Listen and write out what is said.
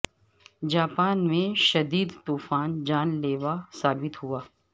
Japan میں شدید طوفان جان لیوا ثابت ہوا